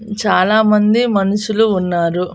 చాలామంది మనుషులు ఉన్నారు.